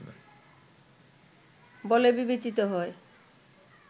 বলে বিবেচিত হয়